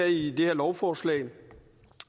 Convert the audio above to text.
i det her lovforslag